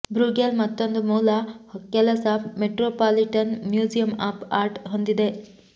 Bruegel ಮತ್ತೊಂದು ಮೂಲ ಕೆಲಸ ಮೆಟ್ರೋಪಾಲಿಟನ್ ಮ್ಯೂಸಿಯಂ ಆಫ್ ಆರ್ಟ್ ಹೊಂದಿದೆ